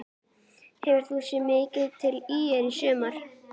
Hefur þú séð mikið til ÍR í sumar?